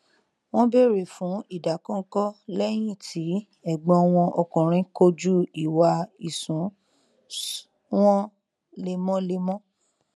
wọn bèrè fún ìdàkọnkọ lẹyìn tí ẹgbọn wọn ọkùnrin kojú ìwà ìṣúnṣ wọn lemọlemọ